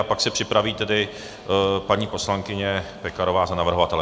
A pak se připraví tedy paní poslankyně Pekarová za navrhovatele.